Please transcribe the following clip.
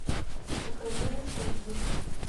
покажи ностальгист